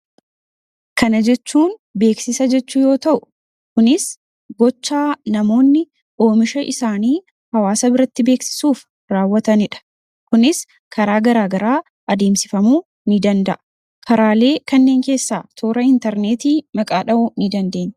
Kana jechuun beeksisa jechuu yoo ta'u, kunis gochaa namoonni oomisha isaanii hawaasa biratti beeksisuuf raawwatanidha. Kunis karaa garaagaraa adeemsifamuu ni danda'a. Karaalee kanniin keessaa toora interneetii maqaa dhahuu ni dandeenya.